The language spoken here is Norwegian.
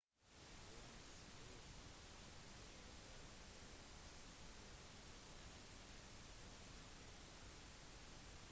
uønskede veggmalerier og skriblinger er kjent som graffiti